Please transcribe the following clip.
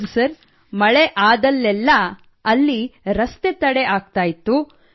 ಹೌದು ಸರ್ ಮಳೆಯಾದಾಗಲೆಲ್ಲ ರಸ್ತೆ ತಡೆ ಆಗ್ತಾ ಇತ್ತು